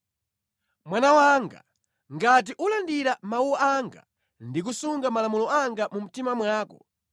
Mwana wanga, ngati ulandira mawu anga ndi kusunga malamulo anga mu mtima mwako,